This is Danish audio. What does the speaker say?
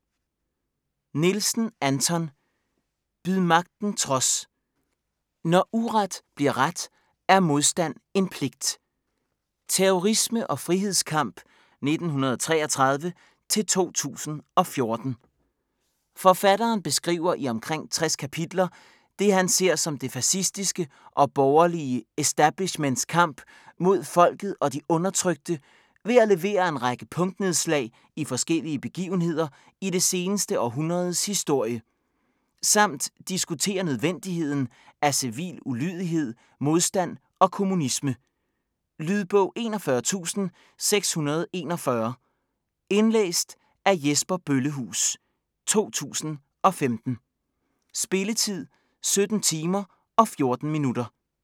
Nielsen, Anton: Byd magten trods!: når uret bliver ret er modstand en pligt Terrorisme og frihedskamp 1933-2014. Forfatteren beskriver i omkring 60 kapitler, det han ser som det fascistiske og borgerlige establishments kamp mod folket og de undertrykte ved at levere en række punktnedslag i forskellige begivenheder i det seneste århundredes historie. Samt diskuterer nødvendigheden af civil ulydighed, modstand og kommunisme. Lydbog 41641 Indlæst af Jesper Bøllehuus, 2015. Spilletid: 17 timer, 14 minutter.